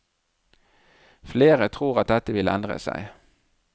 Flere tror at dette vil endre seg.